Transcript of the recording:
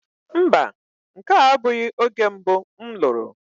mba, nke a abụghị oge mbụ m lụrụ.